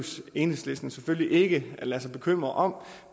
enhedslisten selvfølgelig ikke at lade sig bekymre